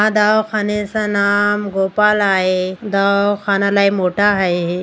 हा दावाखानेचा नाम गोपाल आहे. दावखाना लय मोठा हाये.